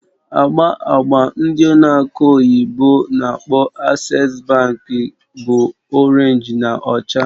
Agba agba n'ụlọ akụ ndị oyibo n'akpọ "Access bank" bụ Orénj na ọcha